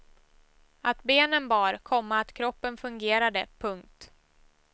Att benen bar, komma att kroppen fungerade. punkt